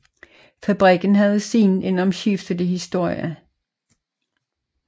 Fabrikken havde siden en omskiftelig historie